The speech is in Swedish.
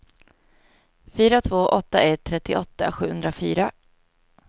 fyra två åtta ett trettioåtta sjuhundrafyra